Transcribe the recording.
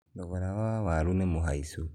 thogora wa waru nĩmũhaicu